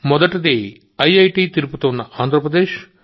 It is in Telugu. మొదటిది ఐఐటి తిరుపతి ఉన్న ఆంధ్రప్రదేశ్